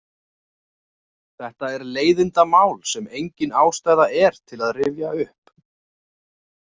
Þetta er leiðindamál sem engin ástæða er til að rifja upp.